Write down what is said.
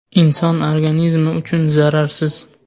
Inson organizmi uchun zararsiz.